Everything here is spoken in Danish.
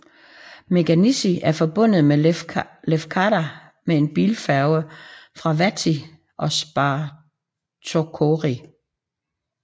Meganisi er forbundet med Lefkada med en bilfærge fra Vathy og Spartochori